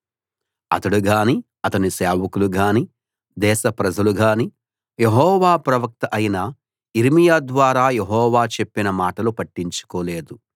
అతడుగాని అతని సేవకులుగాని దేశప్రజలుగాని యెహోవా ప్రవక్త అయిన యిర్మీయా ద్వారా యెహోవా చెప్పిన మాటలు పట్టించుకోలేదు